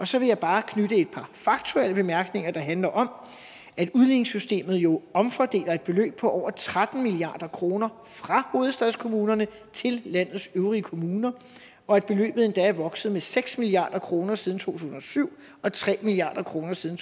så vil jeg bare knytte et par faktuelle bemærkninger de handler om at udligningssystemet jo omfordeler et beløb på over tretten milliard kroner fra hovedstadskommunerne til landets øvrige kommuner og at beløbet endda er vokset med seks milliard kroner siden to tusind og syv og tre milliard kroner siden